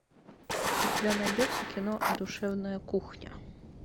у тебя найдется кино душевная кухня